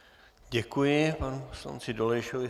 Děkuji panu poslanci Dolejšovi.